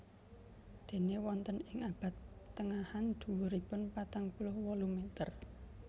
Déné wonten ing abad tengahan dhuwuripun patang puluh wolu meter